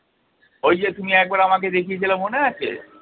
ওইযে তুমি একবার আমাকে দেখিয়েছিলে মনে আছে?